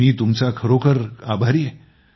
मी तुमचा खरोखर आभारी आहे